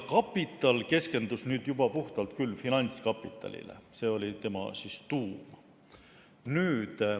"Kapital" keskendus juba puhtalt finantskapitalile, see oli tema tuum.